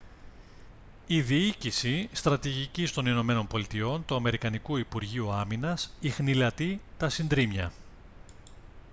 η διοίκηση στρατηγικής των ηνωμένων πολιτειών του αμερικανικού υπουργείου άμυνας ιχνηλατεί τα συντρίμμια